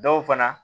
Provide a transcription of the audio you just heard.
Dɔw fana